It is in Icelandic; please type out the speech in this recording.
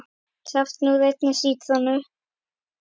Safi úr einni sítrónu